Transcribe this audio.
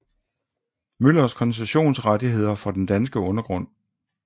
Møllers koncessionsrettigheder for den danske undergrund